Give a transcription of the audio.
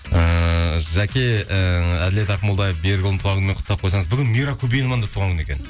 ыыы жаке ііі әділет ақмолдаев берікұлының туған күнімен құттықтап қойсаңыз бүгін мира көбееваның да туған күні екен